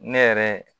Ne yɛrɛ